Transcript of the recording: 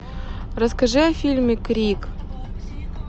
расскажи о фильме крик